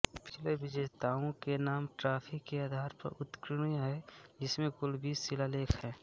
पिछले विजेताओं के नाम ट्राफी के आधार पर उत्कीर्ण हैं जिसमें कुल बीस शिलालेख हैं